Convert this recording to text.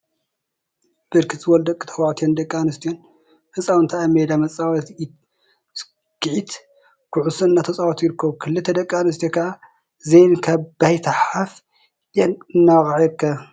ብርክት ዝበሉ ደቂ ተባዕትዮ ደቂ አንስትዮን ህፃውንቲ አብ ሜዳ መፃወቲ ኢድ ሰኪዔት ኩዕሶ እናተፃወቱ ይርከቡ፡፡ ክልተ ደቂ አንስትዮ ከዓ ዘሊለን ካብ ባይታ ሓፍ ኢለን እናወቅዓ ይርከባ፡፡